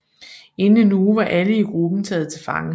Inden en uge var alle i gruppen taget til fange